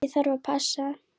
Ég þarf að passa.